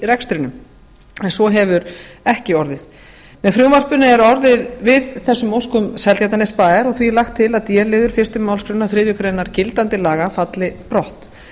rekstrinum en svo hefur ekki orðið með frumvarpinu er orðið við þessum óskum seltjarnarnesbæjar og því er lagt til að d liður fyrstu málsgrein þriðju grein gildandi laga falli brott